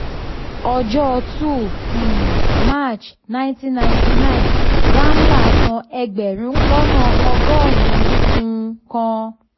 ọjọ́ two um march ninety ninety nine ramlal san ẹgbẹ̀rún lọ́nà ọgọ́rùn-ún kan.